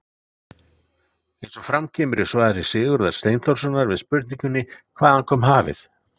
Eins og fram kemur í svari Sigurðar Steinþórssonar við spurningunni Hvaðan kom hafið?